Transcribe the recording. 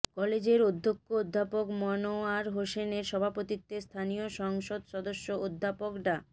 কলেজের অধ্যক্ষ অধ্যাপক মনোয়ার হোসেনের সভাপতিত্বে স্থানীয় সংসদ সদস্য অধ্যাপক ডা